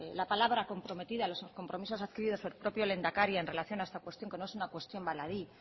la palabra comprometida los compromisos adquiridos por el propio lehendakari en relación a esta cuestión que no es una cuestión baladí